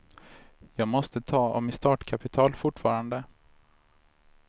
Jag måste ta av mitt startkapital fortfarande.